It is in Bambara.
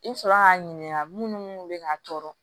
I sɔrɔ k'a ɲininka munnu bɛ ka tɔɔrɔ